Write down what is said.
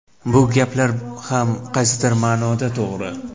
Bu gaplar ham qaysidir ma’noda to‘g‘ri.